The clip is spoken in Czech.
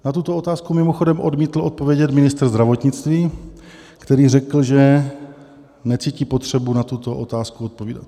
Na tuto otázku mimochodem odmítl odpovědět ministr zdravotnictví, který řekl, že necítí potřebu na tuto otázku odpovídat.